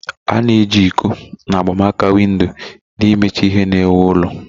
A-na eji iko na agba maka windo na imecha ihe na-ewu ụlọ.